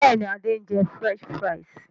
Bẹ́ẹ̀ni, Adé ń jẹ "French fries".